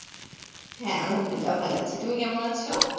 হ্যাঁ আহমদুল্লাহ, ভালো আছি তুমি কেমন আছো?